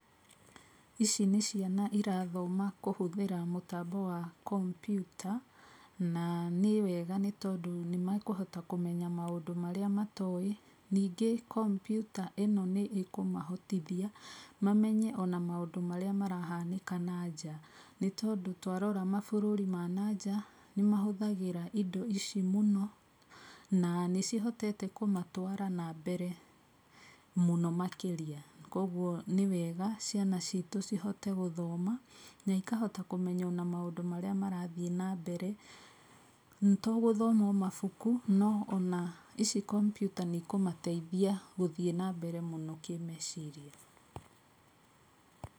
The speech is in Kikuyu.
Ici nĩ ciana irathoma kũhũthĩra mũtambo wa kompyuta na nĩ wega tondũ nĩmekũhota kũmenya maũndũ marĩa matoĩ ningĩ kompyuta ino nĩkũmahotithia mamenye ona maũndũ marĩa marahanĩka na nja nĩtondũ twarora mabũrũri ma na nja, nĩmahũthagĩra indĩ ici mũno na nĩcihotete kũmatwara na mbere mũno makĩrĩa kwoguo nĩwega ciana citũ cihote gũthoma na ikahota kũmenya na maũndũ marĩa marathii na mbere, togũthoma omabuku no ona ici kompyuta kũmateithia gũthii na mbere mũno kĩmeciria.